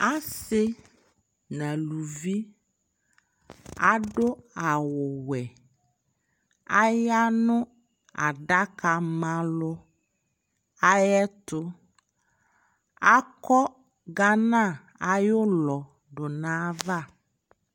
asii nʋ alʋvi adʋ awʋ wɛ, ayanʋ adaka ma alʋ ayɛtʋ, akɔ Ghana ayiʋ ʋlɔ nʋ aɣa